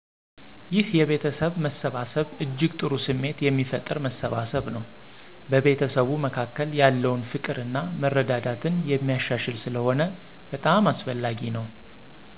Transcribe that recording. ይሕ የቤተሰብ መሰባሰብ እጅግ ጥሩ ስሜት የሚፈጥር መሰባሰብ ነው። በቤተሰቡ መካከል ያለውን ፍቅር እና መረዳዳትን የሚያሻሽል ስለሆነ በጣም አስፈላጊ ነው